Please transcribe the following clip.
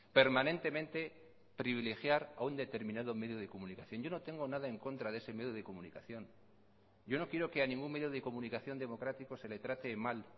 permanentemente privilegiar a un determinado medio de comunicación yo no tengo nada en contra de ese medio de comunicación yo no quiero que a ningún medio de comunicación democrático se le trate mal